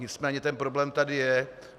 Nicméně ten problém tady je.